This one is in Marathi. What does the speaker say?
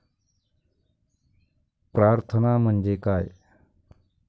प्रार्थना म्हणजे काय?